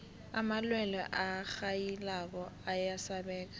amalwelwe arhayilako ayasabeka